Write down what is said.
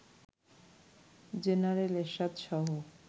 general Ershad সহ